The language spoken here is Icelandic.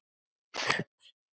Eins og ég?